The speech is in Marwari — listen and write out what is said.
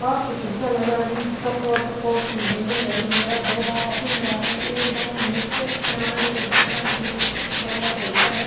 कांच की खिडकिया लगायडी चौकोंर चौकोंर सी बिलडिंग है दो बावड़ो खुला है एक बावड़ो निचे बनायेदा है जमा निचे जगह छोरेडा है।